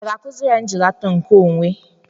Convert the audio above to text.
A ga-akụziri ya njilata nke onwe?